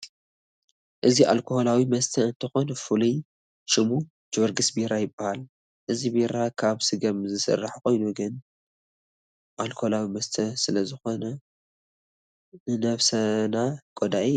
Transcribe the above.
እዚ ኣልኮላዊ መስተ እንትኮን ፉሉይ ሽሙ ጀወርግስ ቢራ ይባሃል። እዚ ቢራ ካብ ስገም ዝስራሕ ኮይኑ ግን ኣልኮላዊ መስተ ስለ ዝኮነ ንነብስና ጎዳኢ እዩ።